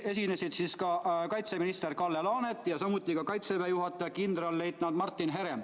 Esinesid kaitseminister Kalle Laanet ja kaitseväe juhataja kindralleitnant Martin Herem.